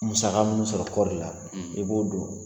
Musaka minnu sɔrɔ kɔɔri la i b'o don